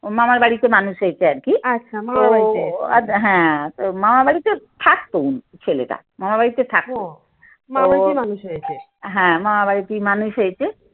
মামার বাড়িতে মানুষ হয়েছে আর কি। হ্যাঁ তো মামা বাড়িতে থাকতো ছেলেটা মামার বাড়িতে থাকতো। হুম মামার বাড়িতেই মানুষ হয়েছে।